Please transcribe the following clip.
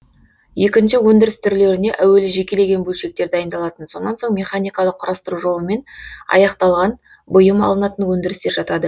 екінші өндіріс түрлеріне әуелі жекелеген бөлшектер дайындалатын сонан соң механикалық құрастыру жолымен аяқталған бұйым алынатын өндірістер жатады